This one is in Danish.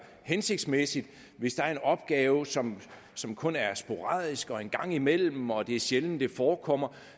hensigtsmæssigt hvis der er en opgave som som kun er sporadisk og en gang imellem og hvor det er sjældent den forekommer